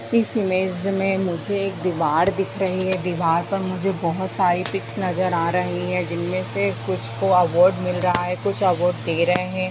इस इमेज में मुझे एक दीवार दिख रही है दीवार पर मुझे बहुत सारी पिक्स नजर आ रही है जिन में से कुछ को अवोर्ड मिल रहा है कुछ अवॉर्ड दे रहे है।